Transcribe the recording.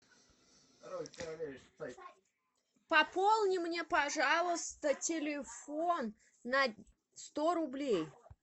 пополни мне пожалуйста телефон на сто рублей